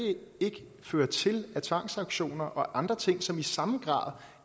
ikke føre til af tvangsauktioner og andre ting som i samme grad